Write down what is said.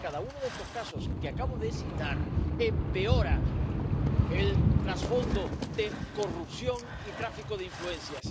porque cada uno de estos casos que acabo de citar empeora el trasfondo de corrupción y tráfico de influencias.